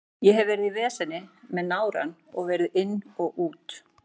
Ég hef verið í veseni með nárann og verið inn og út.